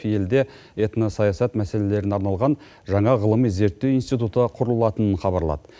елде этносаясат мәселелеріне арналған жаңа ғылыми зерттеу институты құрылатынын хабарлады